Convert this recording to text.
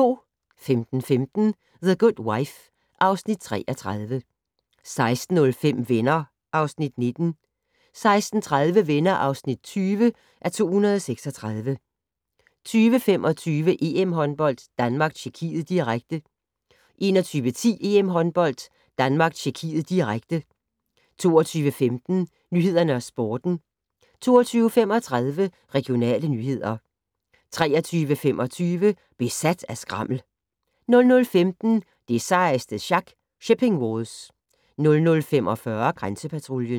15:15: The Good Wife (Afs. 33) 16:05: Venner (Afs. 19) 16:30: Venner (20:236) 20:25: EM-håndbold: Danmark-Tjekkiet, direkte 21:10: EM-håndbold: Danmark-Tjekkiet, direkte 22:15: Nyhederne og Sporten 22:35: Regionale nyheder 23:25: Besat af skrammel 00:15: Det sejeste sjak - Shipping Wars 00:45: Grænsepatruljen